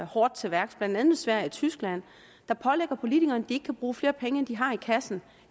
hårdt til værks blandt andet sverige og tyskland der pålægger politikerne at ikke kan bruge flere penge end de har i kassen